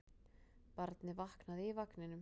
Barnið vaknaði í vagninum.